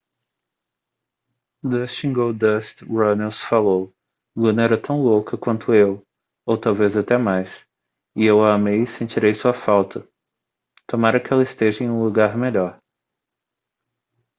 dustin goldust runnels falou: luna era tão louca quanto eu ... ou talvez até mais ... eu a amei e sentirei sua falta ... tomara que ela esteja em um lugar melhor.